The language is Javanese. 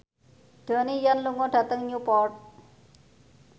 Donnie Yan lunga dhateng Newport